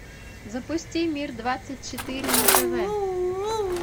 запусти мир двадцать четыре на тв